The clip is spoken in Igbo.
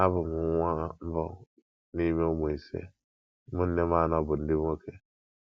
Abụ m nwa mbụ n’ime ụmụ ise; ụmụnne m anọ bụ ndị nwoke.